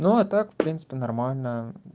ну а так в принципе нормально